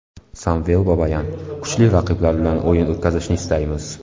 Samvel Babayan: - Kuchli raqiblar bilan o‘yin o‘tkazishni istaymiz.